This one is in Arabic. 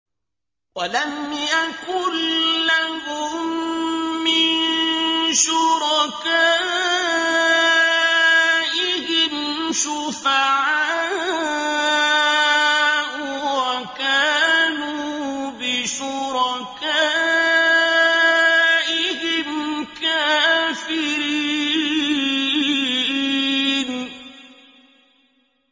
وَلَمْ يَكُن لَّهُم مِّن شُرَكَائِهِمْ شُفَعَاءُ وَكَانُوا بِشُرَكَائِهِمْ كَافِرِينَ